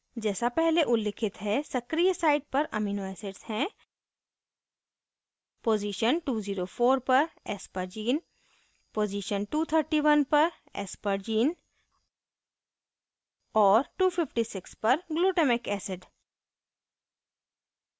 जैसा पहले उल्लिखित है सक्रिय site पर शामिल amino acids हैं पोज़ीशन 204 पर aspergine पोज़ीशन 231 पर aspergine और 256 पर glutamic acid